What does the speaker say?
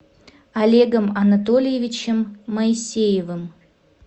олегом анатольевичем моисеевым